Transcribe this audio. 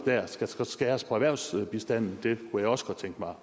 skal skæres på erhvervsbistanden det kunne jeg også godt tænke mig